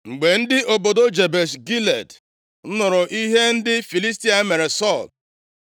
Mgbe ndị obodo Jebesh Gilead + 31:11 \+xt 1Sa 11:1-13\+xt* nụrụ ihe ndị Filistia mere Sọl,